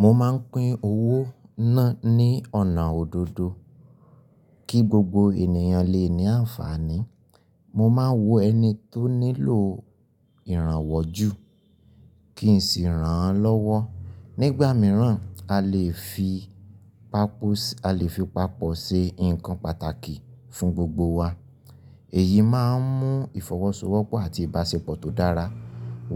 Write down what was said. Mo máa ń pín owó náà ní ọ̀nà òdodo kí gbogbo ènìyàn lè ní àǹfààní. Mo máa wo ẹni tó nílò ìrànwọ́ jù kí n sì ràn án lọ́wọ́. Nígbà mìíràn, a lè fi papọ̀ ṣe nǹkan pàtàkì fún gbogbo wa. Èyí máa ń mú ìfọwọ́sowọ́pọ̀ àti ìbáṣepọ̀ tó dára